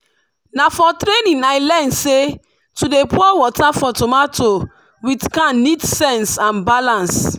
na for training i learn say to dey pour water for tomato with can need sense and balance.